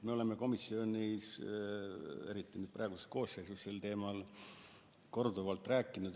Me oleme komisjonis, eriti praeguses koosseisus, sel teemal korduvalt rääkinud.